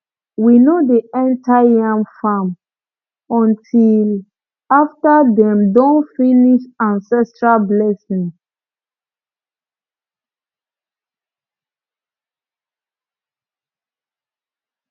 we no dey enter yam farm until after dem don finish ancestral blessing